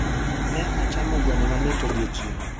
Ne achamo gweno mamit odiechieng'